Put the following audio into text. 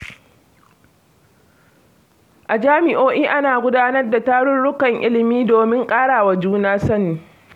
A jami'o'i ana gudanar da tarurrukan ilimi domin ƙarawa juna sani.